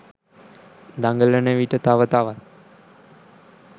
දඟලන විට තව තවත්